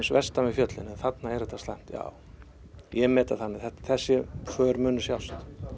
vestan við fjöllin en þarna er þetta slæmt ja ég met það þannig að þessi för muni sjást